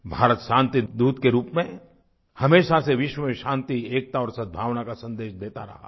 भारत शांतिदूत के रूप में हमेशा से विश्व में शांति एकता और सद्भावना का संदेश देता रहा है